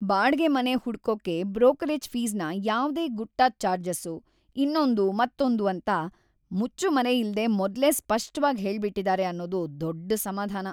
ಬಾಡ್ಗೆ ಮನೆ ಹುಡ್ಕೋಕೆ ಬ್ರೋಕರೇಜ್‌ ಫೀಸ್‌ನ ಯಾವ್ದೇ ಗುಟ್ಟಾದ್‌ ಚಾರ್ಜಸ್ಸು, ಇನ್ನೊಂದು ಮತ್ತೊಂದು ಅಂತ ಮುಚ್ಚುಮರೆಯಿಲ್ದೇ ಮೊದ್ಲೇ ಸ್ಪಷ್ಟವಾಗ್ ಹೇಳ್ಬಿಟಿದಾರೆ ಅನ್ನೋದು ದೊಡ್ಡ್‌ ಸಮಾಧಾನ.